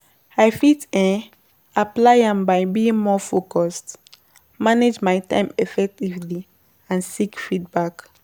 I fit um apply am by being more focused, manage my time effectively and seek feedback.